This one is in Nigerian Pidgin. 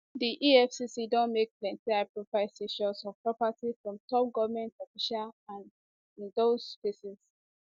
di efcc bin don make plenty highprofile seizures of property from top goment officials and in dos cases